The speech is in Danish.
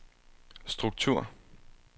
struktur